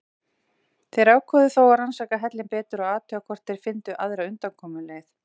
Þeir ákváðu þó að rannsaka hellinn betur og athuga hvort þeir fyndu aðra undankomuleið.